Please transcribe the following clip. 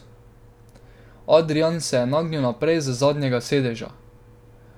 Adrijan se je nagnil naprej z zadnjega sedeža.